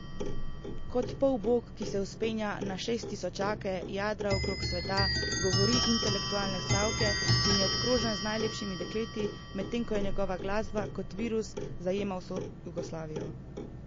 Kot polbog, ki se vzpenja na šesttisočake, jadra okrog sveta, govori intelektualne stavke in je obkrožen z najlepšimi dekleti, medtem ko njegova glasba kot virus zajema vso Jugoslavijo?